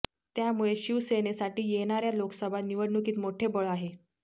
त्यामुळे शिवसेनेसाठी येणार्या लोकसभा निवडणुकीत मोठे बळ आहे